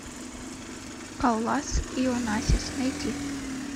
каллас и онассис найти